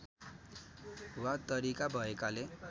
वा तरिका भएकाले